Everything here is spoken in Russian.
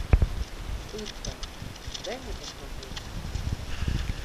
пытка дай мне посмотреть